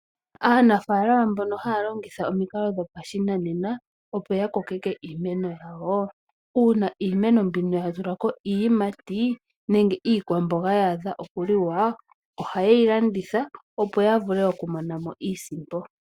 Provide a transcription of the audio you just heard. Aanafaalama mbono haya longitha omikalo dhopashinanena , opo ya kokeke iimeno yawo uuna iimeno mbino yatulako iiyimati nenge iikwamboga yaadha okuliwa ohayeyi landitha opo yavule okumonamo iisimpo.